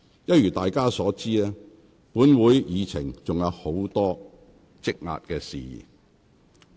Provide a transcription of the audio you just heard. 一如大家所知，本會議程上仍有許多事項積壓，有待處理。